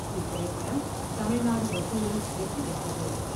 இத்திரைப்படம் தமிழ்நாடு வசூலில் வெற்றி பெற்றது.